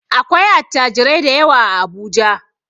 Akwai attajirai dayawa a Abuja.